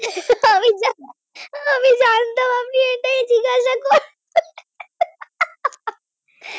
আমি জানতাম আপনি এটাই জিজ্ঞাসা করবেন ।